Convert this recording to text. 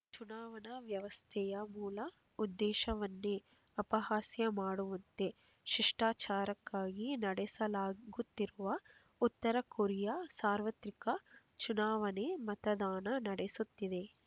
ಚುನಾವಣಾ ವ್ಯವಸ್ಥೆಯ ಮೂಲ ಉದ್ದೇಶವನ್ನೇ ಅಪಹಾಸ್ಯ ಮಾಡುವಂತೆ ಶಿಷ್ಟಾಚಾರಕ್ಕಾಗಿ ನಡೆಸಲಾಗುತ್ತಿರುವ ಉತ್ತರ ಕೊರಿಯಾ ಸಾರ್ವತ್ರಿಕ ಚುನಾವಣೆ ಮತದಾನ ನಡೆಸುತ್ತಿದೆ